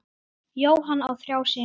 Jóhann á þrjá syni.